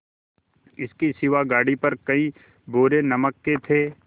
इसके सिवा गाड़ी पर कई बोरे नमक के थे